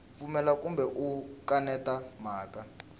pfumela kumbe u kaneta mhaka